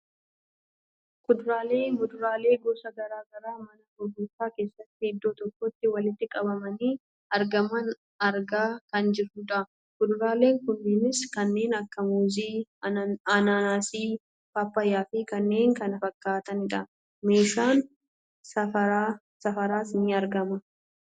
kuduraalee ,muduraalee gosa gara garaa mana gurgurtaa keessatti idoo tokkotti walitti qabamanii argaman argaa kan jirrudha. kuduraaleen kunneenis kanneen akka muuzii, ananaasii, paappayyaafi kanneen kana fakkaataani dha. meeshaan safaraas ni argama.